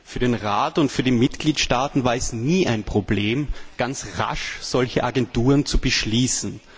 Für den Rat und für die Mitgliedstaaten war es nie ein Problem, ganz rasch solche Agenturen zu beschließen.